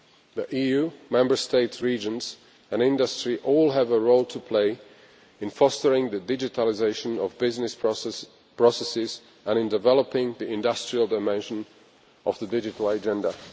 The EU, Member States, regions and industry all have a role to play in fostering the digitalisation of business processes and in developing the industrial dimension of the digital agenda.